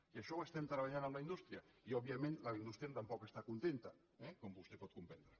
i això ho estem treballant amb la indústria i òbviament la indústria tampoc està contenta eh com vostè pot comprendre